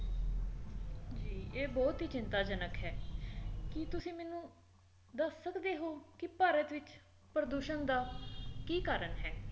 ਜੀ ਇਹ ਬਹੁਤ ਹੀ ਚਿੰਤਾਜਨਕ ਹੈ ਕੀ ਤੁਸੀ ਮੈਨੂੰ ਦੱਸ ਸਕਦੇ ਹੋ ਕੀ ਭਾਰਤ ਵਿੱਚ ਪ੍ਰਦੂਸ਼ਣ ਦਾ ਕੀ ਕਾਰਨ ਹੈ